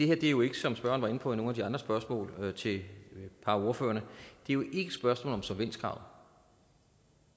er jo ikke som spørgeren på i nogle af de andre spørgsmål til et par af ordførerne et spørgsmål om solvenskrav